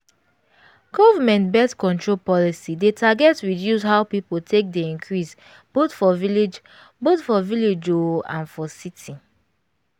government birth-control policy dey target reduce how people take dey increase both for village both for village oooo and for city